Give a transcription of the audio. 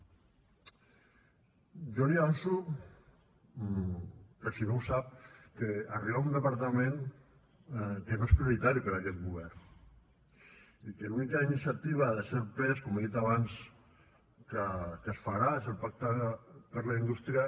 jo li avanço per si no ho sap que arriba a un departament que no és prioritari per a aquest govern i que l’única iniciativa de cert pes com he dit abans que es farà és el pacte per a la indústria